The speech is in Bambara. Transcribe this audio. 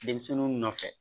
Denmisɛnninw nɔfɛ